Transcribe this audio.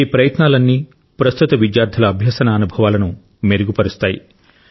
ఈ ప్రయత్నాలన్నీ ప్రస్తుత విద్యార్థుల అభ్యసన అనుభవాలను మెరుగు పరుస్తాయి